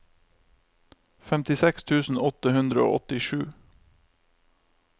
femtiseks tusen åtte hundre og åttisju